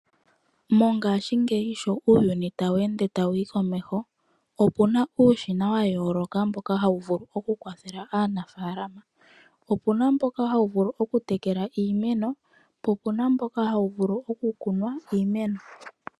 Mongaashingeyi sho uuyuni tawu ende tawu yi komeho, opuna uushina wa yooloka mboka hawu vulu oku kwathela aanafaalama. Opuna mboka hawu vulu oku tekela iimeno, po opuna mboka hawu vulu oku kunwa iimeno.